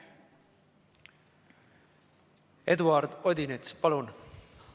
Eduard Odinets, palun!